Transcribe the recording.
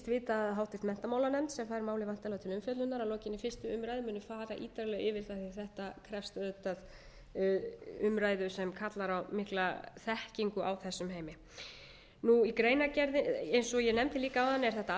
vita að háttvirtur menntamálanefnd sem fær málið væntanlega til umfjöllunar að lokinni fyrstu umræðu muni fara ítarlega yfir það því að þetta krefst auðvitað umræðu sem kallar á mikla þekkingu á þessum heimi eins og ég nefndi líka áðan er þetta